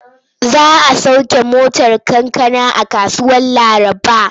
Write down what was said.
Za a sauke motar kankana a kasuwar Laraba.